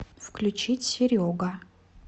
включить серега